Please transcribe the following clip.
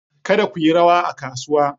Kada ku yi rawa a kasuwa!